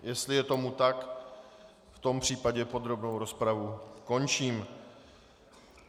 Jestli je tomu tak, v tom případě podrobnou rozpravu končím.